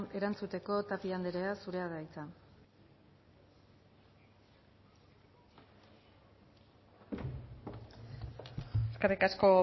erantzuteko tapia anderea zurea da hitza eskerrik asko